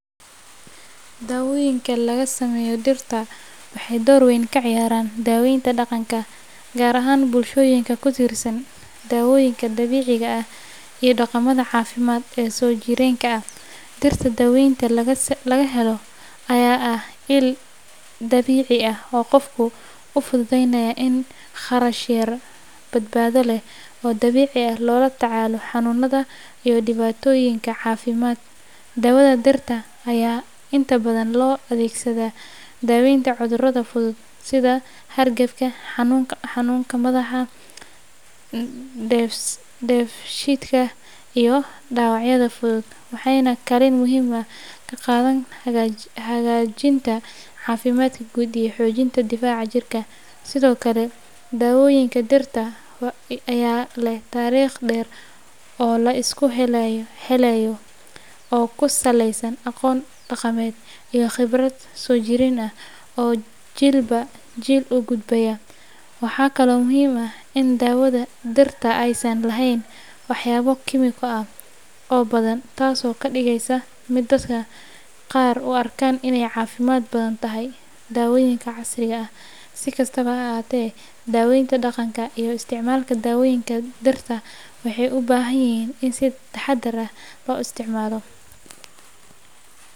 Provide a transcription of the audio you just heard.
Dawoyinka laga sameeyo dhirta waxay door weyn ka ciyaaraan daweynta dhaqanka, gaar ahaan bulshooyinka ku tiirsan daawooyinka dabiiciga ah iyo dhaqamada caafimaad ee soo jireenka ah. Dhirta daweynta laga helo ayaa ah il dabiici ah oo qofka u fududeynaya in si kharash yar, badbaado leh, oo dabiici ah loola tacaalo xanuunada iyo dhibaatooyinka caafimaad. Dawada dhirta ayaa inta badan loo adeegsadaa daweynta cudurada fudud sida hargabka, xanuunka madax, dheefshiidka, iyo dhaawacyada fudud, waxayna kaalin muhiim ah ka qaadataa hagaajinta caafimaadka guud iyo xoojinta difaaca jirka. Sidoo kale, daawooyinka dhirta ayaa leh taariikh dheer oo la isku halleeyo oo ku saleysan aqoon dhaqameed iyo khibrad soo jireen ah oo jiilba jiil u gudbaya. Waxaa kaloo muhiim ah in dawada dhirta aysan lahayn waxyaabo kiimiko ah oo badan, taasoo ka dhigaysa mid dadka qaar u arkaan inay ka caafimaad badan tahay daawooyinka casriga ah. Si kastaba ha ahaatee, daweynta dhaqanka iyo isticmaalka daawooyinka dhirta waxay u baahan yihiin in si taxadar leh loo isticmaalo.